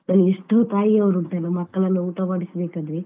ಅಲ್ಲಿ ಎಷ್ಟೋ ತಾಯಿಯವರು ಉಂಟಲ್ಲ ಮಕ್ಕಳನ್ನ ಊಟ ಮಾಡಿಸಬೇಕಾದ್ರೆ.